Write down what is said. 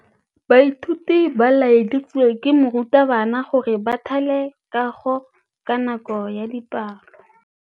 Baithuti ba laeditswe ke morutabana gore ba thale kagô ka nako ya dipalô.